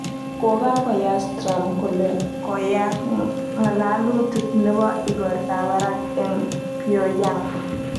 Kokakoyas Trump kole koyaak ng'alalutik nebo igortab barak eng Pyong'yang